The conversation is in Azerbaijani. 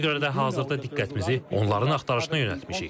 Ona görə də hazırda diqqətimizi onların axtarışına yönəltmişik.